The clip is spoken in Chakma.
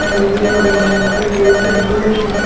iyot he he dun baa ekku jeans pant duler bu.